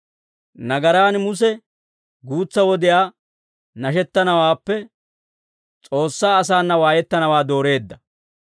Nagaraan Muse guutsa wodiyaa nashettanawaappe, S'oossaa asaana waayettanawaa dooreedda.